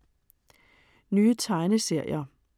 Nye tegneserier